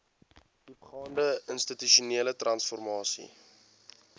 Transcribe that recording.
diepgaande institusionele transformasie